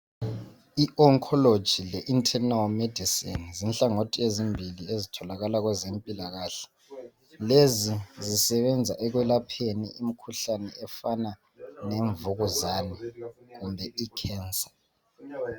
I oncology le internal medicine yinhlangatho yezimbili ezitholakala kwezempilakahle lezi zisebenza ekwelapheni imikhuhlane efana lemvukuzane kumbe i cancer.